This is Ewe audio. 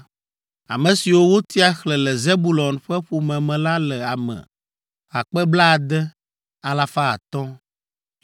Ame siwo wotia xlẽ le Zebulon ƒe ƒome me la le ame akpe blaade, alafa atɔ̃ (60,500).